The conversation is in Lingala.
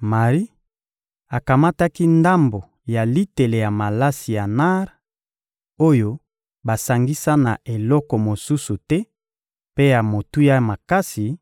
Mari akamataki ndambo ya litele ya malasi ya nar, oyo basangisa na eloko mosusu te mpe ya motuya makasi,